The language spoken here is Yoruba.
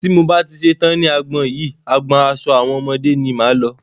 Tí mo bá ti ṣetán ní agbọn yìí, agbọn aṣo àwọn ọmọdé ni máa lọ.